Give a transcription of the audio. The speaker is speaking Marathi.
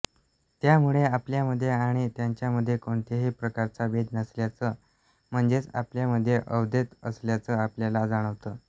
त्यामुळे आपल्यामध्ये आणि त्यांच्यामध्ये कोणत्याही प्रकारचा भेद नसल्याचं म्हणजेच आपल्यामध्ये अद्वैत असल्याचं आपल्याला जाणवतं